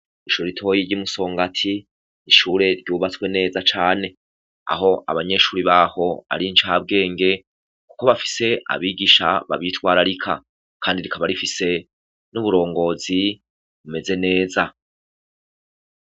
Ishure ritoyi ry'i Musongati, ishure ryubatswe neza cane aho abanyeshuri baho ari incabwenge, kuko bafise abigisha babitwararika kandi rikaba rifise n'uburongozi bumeze neza.